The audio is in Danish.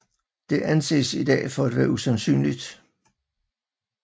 Det anses i dag for at være usandsynligt